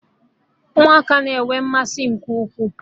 Ụmụaka na-enwe mmasị nke ukwuu